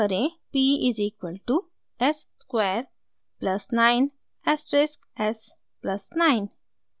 p is equal to s square plus 9 asterisk s plus 9